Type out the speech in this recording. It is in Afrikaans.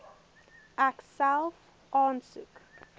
ek self aansoek